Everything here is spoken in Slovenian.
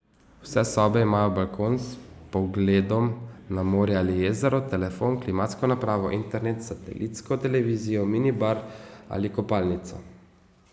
Vse sobe imajo balkon s pogledom na morje ali jezero, telefon, klimatsko napravo, internet, satelitsko televizijo, mini bar in kopalnico.